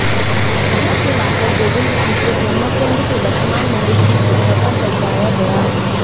वहाँ से लाकर गोविन्द जी को ब्रहृकुण्ड के वर्तमान मंदिर की जगह पर पधराया गया